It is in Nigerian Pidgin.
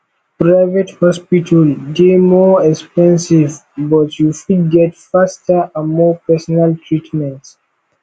private hospital dey more expensive but you fit get faster and more personal treatment